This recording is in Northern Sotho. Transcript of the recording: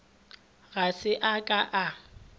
ga se a ka a